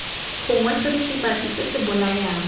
gongwe seritibatsi se se bolayang